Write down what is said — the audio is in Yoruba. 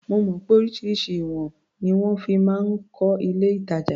Mo mọ̀ pé oríṣiríṣi ìwọ̀n ni wọ́n fi máa ń kọ́ ilé-ìtàjà.